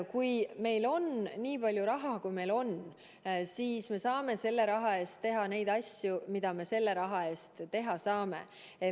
Kui meil on nii palju raha, kui meil on, siis me saame selle raha eest teha neid asju, mida me selle raha eest teha saame.